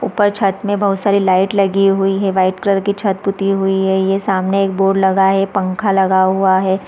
ऊपर छत में बहुत सारे लाइट लगी हुई है वाइट कलर की छत पुती हुई है ये सामने एक बोर्ड लगा है सामने एक पंखा लगा हुआ है।